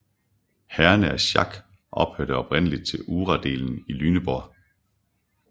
Herrerne af Schack hørte oprindeligt til uradelen i Lüneburg